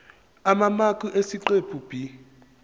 amamaki esiqephu b